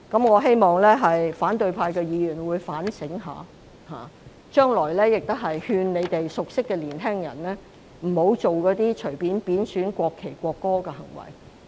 我希望反對派議員會好好反省，將來亦會勸諭他們熟悉的年輕人，不要隨便作出貶損國旗和國歌的行為。